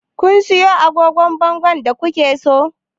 Kun siyo agogon bangon da ku ke so?